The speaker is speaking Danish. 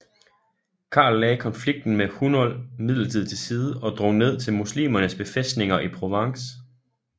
Karl lagde konflikten med Hunold midlertidig til side og drog ned til muslimernes befæstninger i Provence